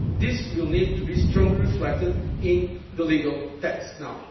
possible. This will need to be strongly reflected in the legal